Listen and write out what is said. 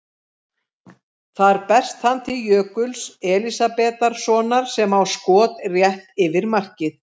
Þar berst hann til Jökuls Elísabetarsonar sem á skot rétt yfir markið.